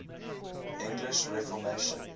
english reformation